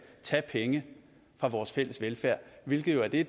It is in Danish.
tage penge fra vores fælles velfærd hvilket jo er det